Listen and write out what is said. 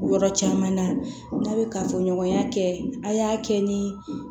Yɔrɔ caman na n'a bɛ kafoɲɔgɔnya kɛ a' y'a kɛ ni